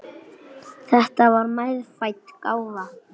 Þetta var meðfædd gáfa.